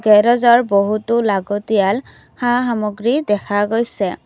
গেৰেজৰ বহুটো লাগতিয়াল সা সামগ্ৰী দেখা গৈছে।